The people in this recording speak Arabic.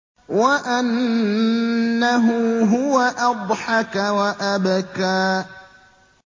وَأَنَّهُ هُوَ أَضْحَكَ وَأَبْكَىٰ